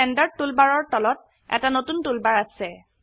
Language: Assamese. ষ্টেণ্ডাৰ্ড টুলবাৰৰ তলত এটা নতুন টুলবাৰ আছে